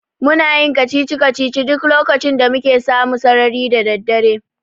Muna yin kacici-kacicici duk lokacin da muke samu sarari da daddare.